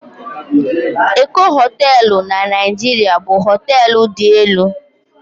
Eko Hóteélụ̀ na Naịjirịa bụ hóteélụ̀ dị elu